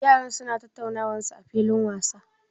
Yaran su na tattaunawan su a filin wasa?